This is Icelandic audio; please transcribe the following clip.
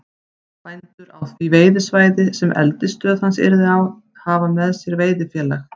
Bændur á því veiðisvæði, sem eldisstöð hans yrði á, hafa með sér veiðifélag